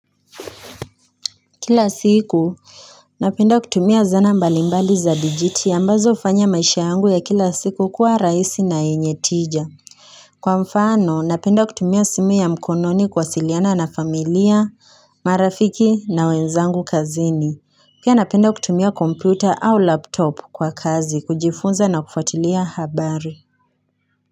Kila siku, napenda kutumia zana mbalimbali za digiti ambazo hufanya maisha yangu ya kila siku kuwa rahisi na yenye tija. Kwa mfano, napenda kutumia simu ya mkononi kuwasiliana na familia, marafiki na wenzangu kazini. Pia napenda kutumia kompyuta au laptop kwa kazi kujifunza na kufuatilia habari.